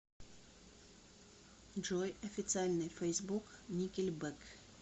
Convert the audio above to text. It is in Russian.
джой официальный фейсбук никельбэк